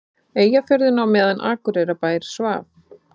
Eyjafjörðinn á meðan Akureyrarbær svaf.